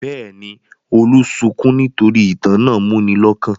Bẹ́ẹ̀ ni, Olú sunkún nítorí ìtàn náà múni lọ́kàn.